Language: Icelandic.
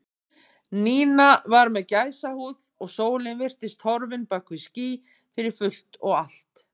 Nína var með gæsahúð og sólin virtist horfin bak við ský fyrir fullt og allt.